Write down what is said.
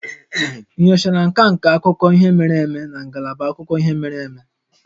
Ị nyochara nka nka akụkọ ihe mere eme na ngalaba akụkọ ihe mere eme?